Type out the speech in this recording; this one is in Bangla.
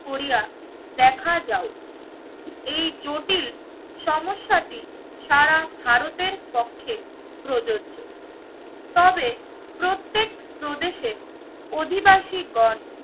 করিয়া দেখা যাও এই জটিল সমস্যাটি সারা ভারতের পক্ষে প্রযোজ্য। তবে প্রত্যেক প্রদেশে অধিবাসী গণ